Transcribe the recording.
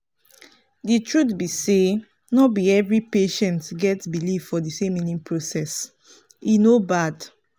the truth be say no be every patients get believe for the same healing processe no bad.